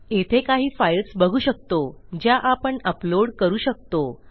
येथे काही फाइल्स बघू शकतो ज्या आपण अपलोड करू शकतो